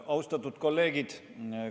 Austatud kolleegid!